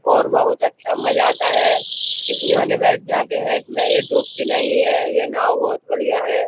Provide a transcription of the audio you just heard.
और बहुत अच्छा मजा आता है। इसी बहाने बैठ जाते हैं इसमें। ये डूबती नहीं है। ये नाव बहुत बढियां है।